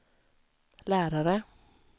lärare